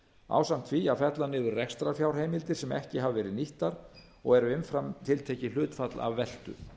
ásamt því að fella niður rekstrarfjárheimildir sem ekki hafa verið nýttar og eru umfram tiltekið hlutfall af veltu